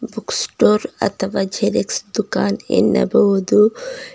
Book store ಅಥವಾ xerox ದುಃಖಾನ್ ಎನ್ನಬಹುದು.